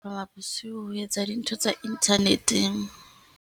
Bosiu ho etsa dintho tsa internet-eng.